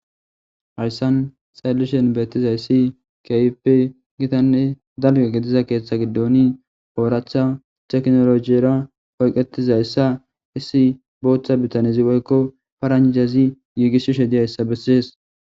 hayssan xaellishen beettizayssi kayipe gitanne dalge gediza keeththa giddooni ooraatha teknolojiyera oyqetizayssa issi booththa bitanezi woykko paranjazi yiigisshi she diyayssa bessees